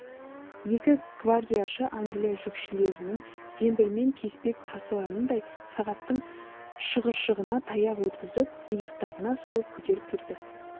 екі гвардияшы англия жүкшілерінің зембілмен кеспек тасығанындай сағаттың шығыршығына таяқ өткізіп иықтарына салып көтеріп кетті